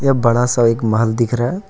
यह बड़ा सा एक महल दिख रहा है।